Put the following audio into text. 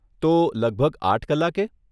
તો લગભગ આઠ કલાકે?